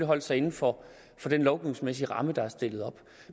holdt sig inden for den lovgivningsmæssige ramme der er stillet op